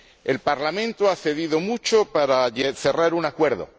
El Parlamento ha cedido mucho para cerrar un acuerdo